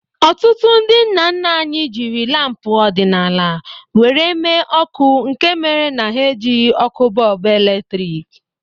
Ọtụtụ ndị nna nna anyị jiri lampu ọdịnala were mee ọkụ nke mere na ha ejighi ọkụ bọlbụ eletrik